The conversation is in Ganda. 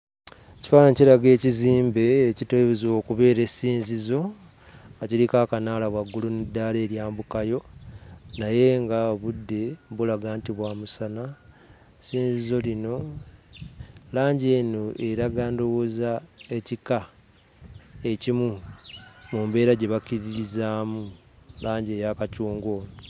Ekifaananyi kiraga ekizimbe ekiteeberezebwa okubeera essinzizo nga kiriko akanaala waggulu n'eddaala eryambukayo naye ng'obudde bulaga nti bwa musana. Essinzizo lino, langi eno eraga ndowooza ekika ekimu mu mbeera gye bakkiririzaamu, langi eya kacungwa ono.